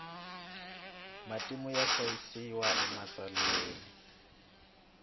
matimu ya hlayisiwa ematsalweni